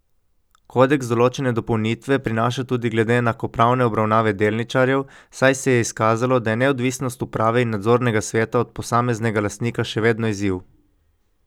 Kodeks določene dopolnitve prinaša tudi glede enakopravne obravnave delničarjev, saj se je izkazalo, da je neodvisnost uprave in nadzornega sveta od posameznega lastnika še vedno izziv.